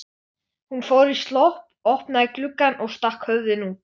Hún fór í slopp, opnaði gluggann og stakk höfðinu út.